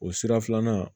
O sira filanan